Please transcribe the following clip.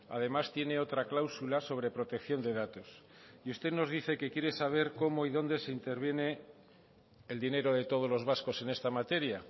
además tiene otra cláusula sobre protección de datos y usted nos dice que quiere saber cómo y dónde se interviene el dinero de todos los vascos en esta materia